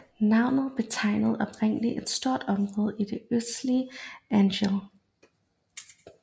Navnet betegnede oprindeligt et stort område i det østlige Angel